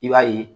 I b'a ye